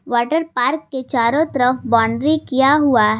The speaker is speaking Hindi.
वाटर पार्क के चारों तरफ बाउंड्री किया हुआ है।